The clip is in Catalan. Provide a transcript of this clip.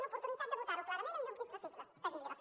l’oportunitat de votar ho clarament amb llum i taquígrafs